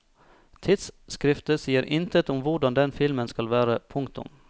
Tidsskriftet sier intet om hvordan den filmen skal være. punktum